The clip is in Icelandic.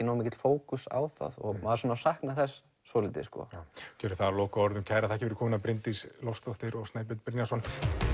nógu mikill fókus á það maður saknar þess svolítið gerum það að lokaorðum kærar þakkir fyrir komuna Bryndís Loftsdóttir og Snæbjörn Brynjarsson